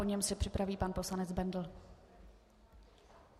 Po něm se připraví pan poslanec Bendl.